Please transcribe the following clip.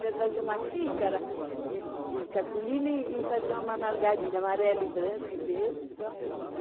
fazia uma xícara de de cartolina e e fazia uma margarida, amarelo e branco e verde só.